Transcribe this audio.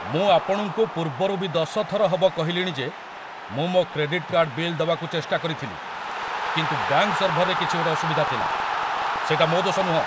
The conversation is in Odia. ମୁଁ ଆପଣଙ୍କୁ ପୂର୍ବରୁ ବି ଦଶ ଥର ହବ କହିଲିଣି ଯେ ମୁଁ ମୋ' କ୍ରେଡିଟ୍‌ କାର୍ଡ଼୍ ବିଲ୍ ଦବାକୁ ଚେଷ୍ଟା କରିଥିଲି କିନ୍ତୁ ବ୍ୟାଙ୍କ୍‌ ସର୍ଭରରେ କିଛି ଗୋଟେ ଅସୁବିଧା ଥିଲା । ସେଇଟା ମୋ' ଦୋଷ ନୁହଁ!